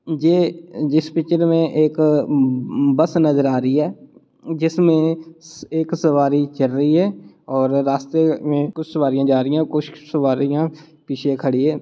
जे जिस पिचर में एक बस नजर आ रही है जिसमें एक सवारी चढ़ रही है और रास्ते में कुछ सवारियाँ जा रही हैं और कुछ सवारियाँ पीछे खड़ी हैं।